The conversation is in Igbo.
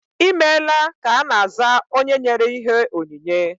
Ịmela ka ana aza onye nyere ihe onyinye